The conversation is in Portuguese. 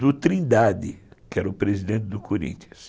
do Trindade, que era o presidente do Corinthians.